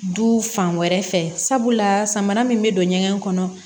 Du fan wɛrɛ fɛ sabula samara min bɛ don ɲɛgɛn kɔnɔ